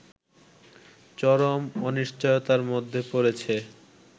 চরম অনিশ্চয়তার মধ্যে পড়েছে